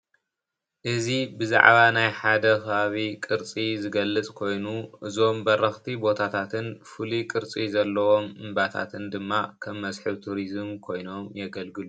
እዚ ብዘዓባ ናይ ሓደ ከባቢ ዝገልፅ ቅርፂ ኮይኑ እዞም በረክቲ ቦታታትን ፍሉይ ቅርፂ ዘለዎም እባታትን ድማ ከም መስሕብ ቱሪዝም ኮይኖም የገልግሉ::